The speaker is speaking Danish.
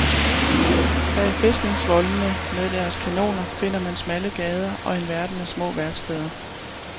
Bag fæstningsvoldene med deres kanoner finder man smalle gader og en verden af små værksteder.